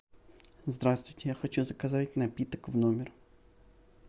здравствуйте я хочу заказать напиток в номер